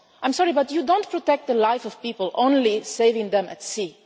lives. I am sorry, but you do not protect the lives of people only by saving them at